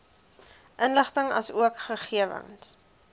inligting asook gegewens